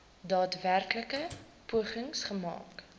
daadwerklike pogings gemaak